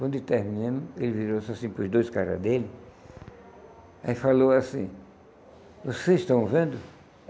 Quando terminamos, ele virou-se assim, para os dois caras dele, aí falou assim, vocês estão vendo?